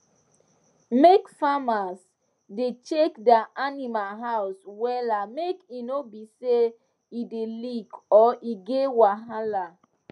make farmers da check dia animal house wella make e no be say e da leak or e get wahala